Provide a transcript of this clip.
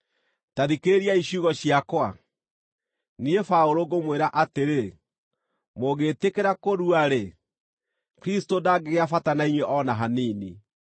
Ta thikĩrĩriai ciugo ciakwa! Niĩ Paũlũ ngũmwĩra atĩrĩ, mũngĩtĩkĩra kũrua-rĩ, Kristũ ndangĩgĩa bata na inyuĩ o na hanini.